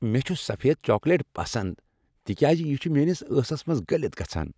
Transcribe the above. مےٚ چھ سفید چاکلیٹ پسند تکیاز یہ چھ میٲنس ٲسس منٛز گلِتھ گژھان ۔